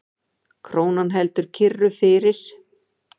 Krónan heldur kyrru fyrir